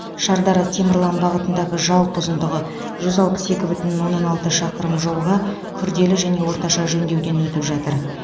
шардара темірлан бағытындағы жалпы ұзындығы жүз алпыс екі бүтін оннан алты шақырым жолға күрделі және орташа жөндеуден өтіп жатыр